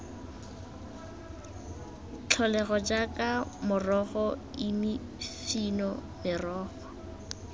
tlholego jaaka morogo imifino merogo